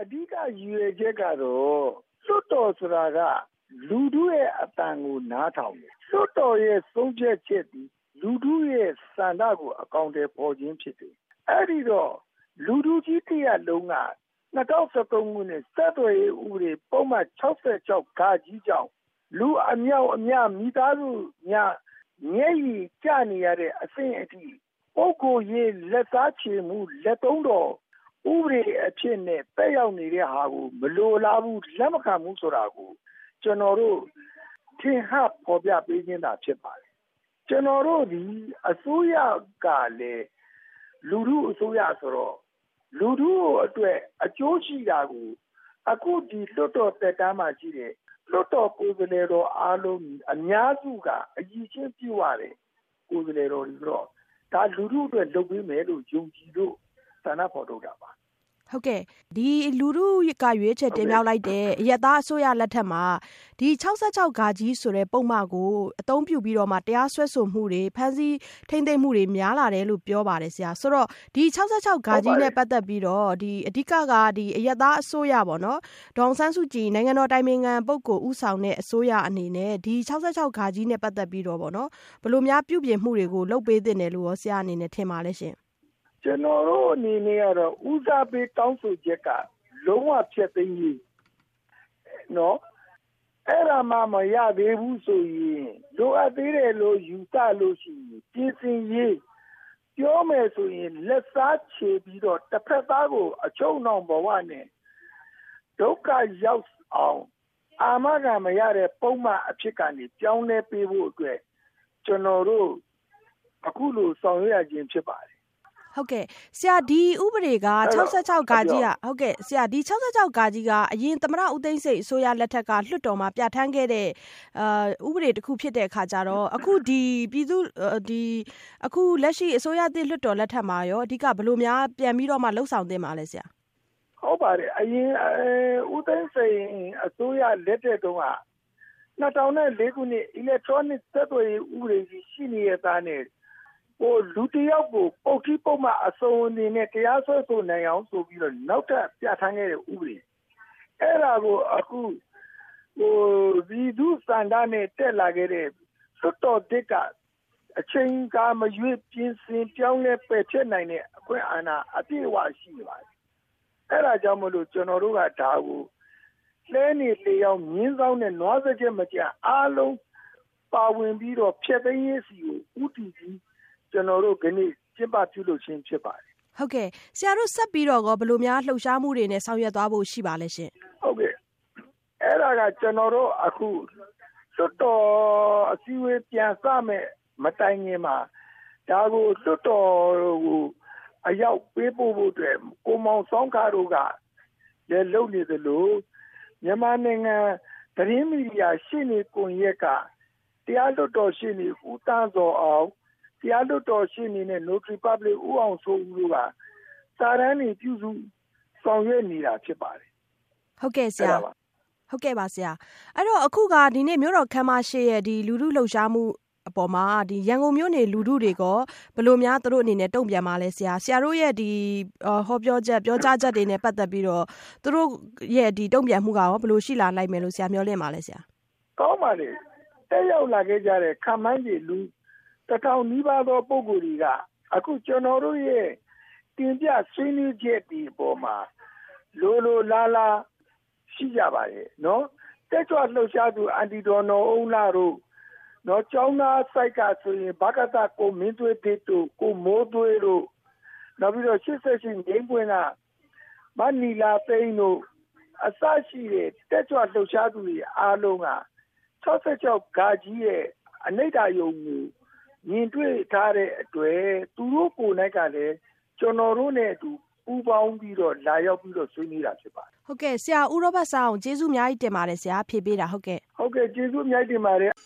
အဓိက ရည်ရွယ်ချက်ကတော့ လွှတ်တော်ဆိုတာက လူထုရဲ့အသံကို နားထောင်တယ်။ လွှတ်တော်ရဲ့ဆုံးဖြတ်ချက်သည် လူထူဆန္ဒကို အကောင်အထည်ဖော်ခြင်းဖြစ်တယ်။ အဲဒီတော့ လူထုကြီးတရပ်လုံးက ၂၀၁၃ ခုနှစ် ဆက်သွယ်ရေး ပုဒ်မ ၆၆ ကြောင့် လူအမြောက်အများ၊ မိသားစုများ မျက်ရည်ကျနေရတဲ့အဆင့်အထိ ပုဂိုလ်ရေး လက်သုံးတော် ဥပဒေအဖြစ်နဲ့ သက်ရောက်နေတာကို မလိုလားဘူး လက်မခံဘူးဆိုတာကို ကျနော်တို့ ထင်ဟပ်ဖော်ပြပေးခြင်းသာဖြစ်ပါတယ်။ ကျနော်တို့အစိုးရကလည်း လူထုအစိုးရဆိုတော့ လူထုအတွက်အကျိုးရှိတာကို အခုဒီလွှတ်တော်သက်တမ်းမှာရှိတဲ့ လွှတ်တော်ကိုယ်စားလှယ်တွေအားလုံး အများစုက အရည်အချင်းပြည့်ဝတဲ့ ကိုယ်စားလှယ်တွေဆိုတော့ ဒါလူထုအတွက်လုပ်ပေးမယ်လို့ ယုံကြည်လို့ ဆန္ဒဖော်ထုတ်တာပါ။ မဆုမွန်။ ။ဟုတ်ကဲ့၊ ဒီ လူထုက ရွှေးချယ်တင်မြောက်လိုက်တဲ့ အရပ်သားအစိုးရလက်ထက်မှာ ဒီ ၆၆ ဆိုတဲ့ ပုဒ်မကြောင့် အသုံးပြုပြီးတော့ တရားစွဲဆိုမှုတွေ ဖမ်းဆီးထိန်းသိမ်းမှုတွေ များလာတယ်လို့ပြောပါတယ်။ ဆိုတော့ ၆၆ နဲ့ ပတ်သက်ပြီးတော့ အဓိက အရပ်သားအစိုးရ ၊ ဒေါ်အောင်ဆန်းစုကြည် နိုင်ငံတော်အတိုင်ပင်ခံပုဂ္ဂိုလ်ဦးဆောင်တဲ့ အစိုးရအနေနဲ့ ၆၆ နဲ့ ပတ်သက်ပြီးတော့ ဘယ်လိုများ ပြုပြင်မှုတွေ လုပ်ပေးသင့်တယ်လို့ ဆရာ့အနေနဲ့ ထင်ပါသလဲ။ ဦးရောဘတ်စန်းအောင်။ ။ ကျနော်တို့အနေနဲ့ကတော့ ဦးစားပေးတောင်းဆိုချက်က လုံးဝဖျက်သိမ်းရေး၊ အဲဒါမှ မရဘူးဆိုရင် လိုအပ်သေးတယ်လို့ ယူဆရင် ပြင်ဆင်ရေး ။ ပြောမယ်ဆိုရင် လက်စားချေပြီးတော့ တဖက်သားကို အချုပ်နှောင်ဘဝနဲ့ ဒုက္ခရောက်အောင် အာမခံမရတဲ့ ပုဒ်မအဖြစ်ကနေ ပြောင်းလဲပေးဖို့အတွက် ကျနော်တို့ အခုလိုဆောင်ရွက်ရခြင်းဖြစ်ပါတယ်။ မဆုမွန်။ ။ ဒီ ၆၆ က အရင် သမ္မတ ဦးသိန်းစိန်အစိုးရလက်ထက်မှာ လွှတ်တော်မှာ ပြဌာန်းခဲ့တဲ့ ဥပဒေတခု ဖြစ်တဲ့အခါကျတော့ ဒီ အခုလက်ရှိအစိုးရသစ်လွှတ်တော်လက်ထက်မှာရော အဓိက ဘယ်လိုများ ပြန်ပြီးတော့ လုပ်ဆောင်သင့်ပါသလဲ ဆရာ။ ဦးရောဘတ်စန်းအောင်။ ။ ဟုတ်ပါတယ် အရင် သမ္မတ ဦးသိန်းစိန်အစိုးရလက်ထက်တုန်းက ၂၀၀၄ ခုနှစ် အီလက်ထရောနစ် ဆက်သွယ်ရေးဥပဒေ ရှိနေသားနဲ့ လူတယောက်ကို ပုဒ်ထီး၊ ပုဒ်မ အစုံနဲ့ တရားစွဲဆိုနိုင်အောင်ဆိုပြီး နောက်ထပ်ပြဌာန်းခဲ့တဲ့ ဥပဒေ အဲဒါကို အခု ပြည်သူ့ဆန္ဒနဲ့ တက်လာတဲ့ လွှတ်တော်သစ်က အချိန်အခါမရွေး ပြင်ဆင်ပြောင်းလဲ ပယ်ဖျက်နိုင်တဲ့ အခွင့်အာဏာ အပြည့်အ၀ ရှိနေပါတယ်။ အဲဒါကြောင့်မို့လို့ ကျနော်တို့က လှည်းနေ လှေအောင်း မြင်းဇောင်းပါ မြင်းဇောင်းနဲ့ နွားစားကျက်မကျန်အားလုံးပါဝင်ပြီးတော့ ဖျက်သိမ်းရေးဆီကို ဦးတည် ပြီး ကျနော်တို့ ဒီနေ့ ကျင်းပပြုလုပ်ခြင်းဖြစ်ပါတယ်။ မဆုမွန်။ ။ဟုတ်ကဲ့ ဆရာတို့ ဆက်ပြီးတော့ ဘယ်လိုမျိုးလှုပ်ရှားမှုတွေနဲ့ ဆောင်ရွက်သွားဖို့ ရှိပါသလဲ။ ဦးရောဘတ်စန်းအောင်။ ။အဲဒါက ကျနော်တို့ အခု လွှတ်တော်အစည်းအဝေးပြန်စမယ့် မတိုင်ခင်မှာ ဒါကို လွှတ်တော်ကို အရောက်ပေးပို့ဖို့အတွက် ကိုမောင်ဆောင်းခတို့က လုပ်နေသလို မြန်မာနိုင်ငံ သတင်းမီဒီယာ ရှေ့နေကွန်ယက်က တရားလွှတ်တော်ရှေ့နေ ဦးသန့်ဇော်အောင်၊ တရားလွှတ်တော်နဲ့ နိုထရီပတ်ပလစ် ဦးအောင်စိုးဦးတို့က စာတမ်းတွေ ပြုစု ဆောင်ရွက်နေတာဖြစ်ပါတယ်။ မဆုမွန်။ ။ဟုတ်ကဲ့ပါဆရာ။ အဲဒီတော့ ဒီနေ့က မြို့တော်ခန်းမရှေ့က လူထုလှုပ်ရှားမှုအပေါ်မှာ ရန်ကုန်မြို့နေ လူထုတွေရော ဘယ်လိုများ သူတို့အနေနဲ့ တုံ့ပြန်ပါသလဲဆရာ။ ဆရာတို့ရဲ့ ပြောကြားချက်တွေနဲ့ ပတ်သက်ပြီးတော့ သူတို့ တုံ့ပြန်မှုက ရော ဘယ်လိုရှိလာနိုင်မယ်လို့ မျှော်လင့်ပါသလဲ ဆရာ။ ဦးရောဘတ်စန်းအောင်။ ။ ကောင်းပါတယ်။ တက်ရောက်လာတဲ့ ခန့်မှန်းခြေ လူ ၁၀၀၀ နီးပါးပုဂ္ဂိုလ်တွေက အခုကျနော်တို့ရဲ့ တင်ပြဆွေးနွေးချက်တွေအပေါ်မှာ လိုလိုလားလားရှိကြပါတယ်။ တက်ကြွလှုပ်ရှားသူ အန်တီ ဒေါ်နော်အုန်းလှတို့၊ ကျောင်းသားဘက်ကဆိုရင် ဘကသ ကိုမင်းထွေးသစ်တို့ ၊ ကိုမိုးသွေးတို့ ၊ နောက်ပြီးတော့ ၈၈ ငြိမ်းပွင့်က မနီလာသိန်း တို့ အစရှိတဲ့ တက်ကြွလှုပ်ရှားသူအားလုံးက ၆၆ ရဲ့ အနိဋ္ဌာရုံ သဘောတရားတွေကို မြင်တွေ့ထားပြီးဖြစ်တဲ့အတွက် သူ့တို့ကိုကလည်း ကျနော်တို့နဲ့အတူ ပူးပေါင်းပြီးတော့ လာရောက်ဆွေးနွေးတာဖြစ်ပါတယ်။ မဆုမွန်။ ။ ဟုတ်ကဲ့ ဆရာ ဦးရောဘတ်စန်းအောင် ကျေးဇူးအများကြီးတင်ပါတယ် ဖြေပေးတာ။ ဦးရောဘတ်စန်းအောင်။ ။ဟုတ်ကဲ့ ကျေးဇူးအများကြီးတင်ပါတယ်။